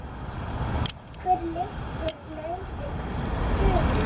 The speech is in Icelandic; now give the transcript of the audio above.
Hver liggur leiðin í sumar?